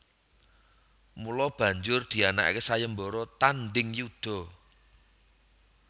Mula banjur dianakake sayembara tandheng yuda